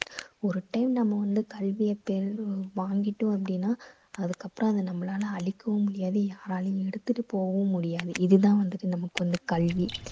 ஒரு time நம்ம வந்து கல்வியை பெறணு~ வாங்கிட்டோம் அப்படீன்னா அதுக்கப்புறம் அதை நம்பளால அழிக்கவும் முடியாது யாராலேயும் எடுத்துட்டு போகவும் முடியாது. இது தான் வந்துட்டு நமக்கு வந்து கல்வி.